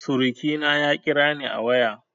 Surukina ya kirani a waya